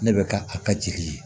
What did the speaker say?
Ne bɛ ka a ka jeli ye